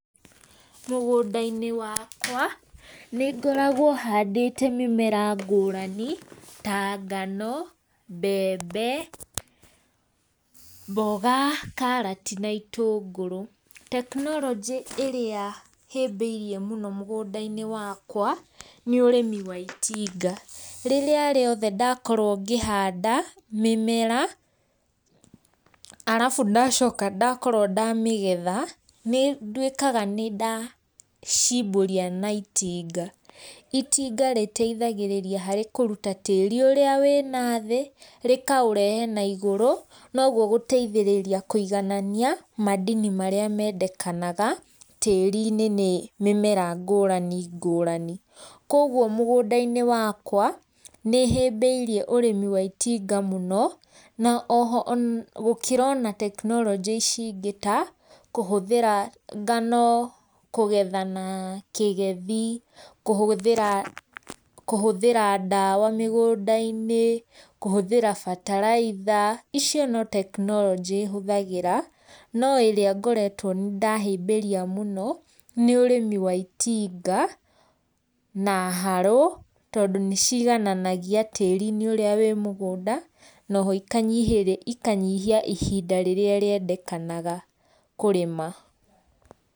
Mũgũnda- inĩ wakwa, nĩ ngoragwo handĩte mĩmera ngũrani, ta ngano, mbembe, mboga, karati na itũngũrũ, tekinoronjĩ ĩrĩa hĩbĩrie mũno mũgũnda - inĩ wakwa, nĩ ũrĩmi wa itinga, rĩrĩa rĩothe ndakorwo ngĩhanda, mĩmera, arabu ndacoka ndakorwo ndamĩgetha, nĩ ndwĩkaga nĩ ndacimbũria na itinga, itinga rĩteithagĩrĩria harĩ kũruta tĩri ũrĩa wĩ na thĩ, rĩkaũrehe na igũrũ, nogwo gũteithĩrĩria kũiganania mandini marĩa mendekanaga tĩri-inĩ nĩ mĩmera ngũrani ngũrani. kwoguo mũgũnda-inĩ wakwa nĩ hĩmbĩirie ũrĩmi wa itinga mũno, na oho ona gũkĩra ona tekinoronjĩ ici ingĩ ta, kũhũthĩra ngano, kũgetha na kĩgethi, kũhũthĩra kũhũthĩra ndawa, mĩgũnda - inĩ, kũhũthĩra bataraitha, icio ni tekinoronjĩ hũthagĩra, no ĩria ngoretwo nĩ ndahĩmbĩria mũno, nĩ ũrĩmi wa itinga, na haro, tondũ nĩ cigananagia tĩrinĩ ũrĩa wĩ mũgũnda, noho ikanyihĩ, ikanyihia ihinda rĩrĩa rĩendekanaga kũrĩma.